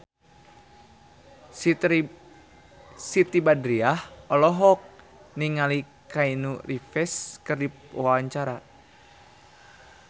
Siti Badriah olohok ningali Keanu Reeves keur diwawancara